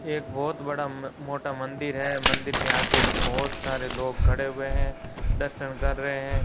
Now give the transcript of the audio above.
एक बहोत बड़ा मोटा मंदिर है मंदिर के आगे बहोत सारे लोग खड़े हुए हैं दर्शन कर रहे हैं।